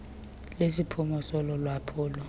lesiphumo solo lwaphulo